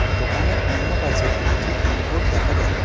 দোকানের অন্যপাশে একটি বিলবোর্ড দেখা যা--